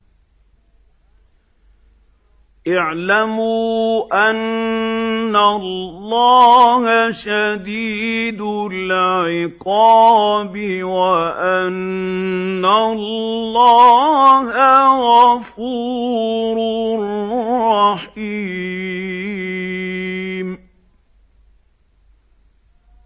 اعْلَمُوا أَنَّ اللَّهَ شَدِيدُ الْعِقَابِ وَأَنَّ اللَّهَ غَفُورٌ رَّحِيمٌ